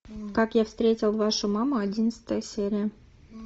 как я встретил вашу маму одиннадцатая серия